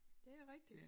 Det rigitgt